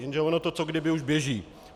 Jenže ono to co kdyby už běží.